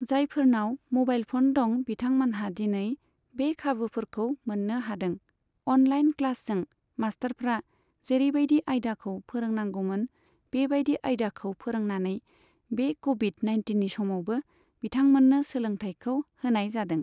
जायफोरनाव mobile phone दं बिथांमोनहा दिनै बे खाबुफोरखौ मोननो हादों। अनलाइन क्लासजों मास्थारफ्रा जेरैबायदि आयदाखौ फोरोंनांगौमोन बेबायदि आयदाखौ फोरोंनानै बे कभिड नाइनटिननि समावबो बिथांमोननो सोलोंथायखौ होनाय जादों।